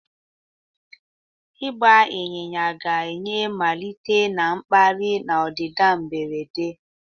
Ịgba ịnyịnya ga-enye mmalite na-akpali na ọdịda mberede.